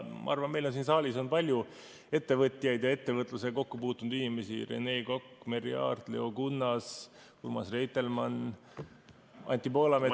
Ma arvan, et meil siin saalis on palju ettevõtjaid ja ettevõtlusega kokku puutunud inimesi: Rene Kokk, Merry Aart, Leo Kunnas, Urmas Reitelmann, Anti Poolamets ...